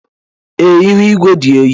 Ee, ihu igwe dị oyi.